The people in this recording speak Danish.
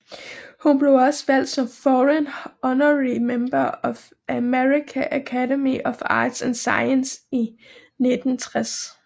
Hun blev også valgt som Foreign Honorary Member af American Academy of Arts and Sciences i 1960